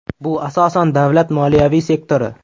Bu asosan davlat moliyaviy sektori.